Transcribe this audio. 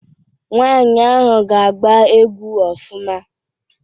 Nwaanyị ahụ ga-agba egwu ofụma.